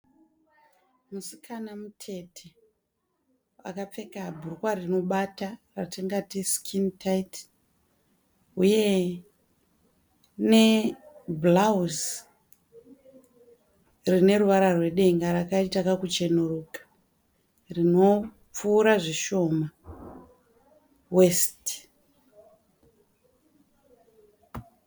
Musikana mutete akapfeka bhurukwa rinobata ratingati sikini taiti huye nebhurauzi rineruvara rwedenga rakaita kakucheneruka rinopfuura zvishoma wesiti.